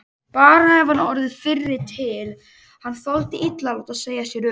Bara ef hann hefði orðið fyrri til, hann þoldi illa að láta segja sér upp.